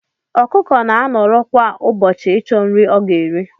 Ọkụkọ na anọrọ kwa ubochi ichọ nri ọga eri.